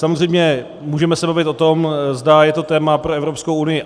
Samozřejmě můžeme se bavit o tom, zda je to téma pro Evropskou unii.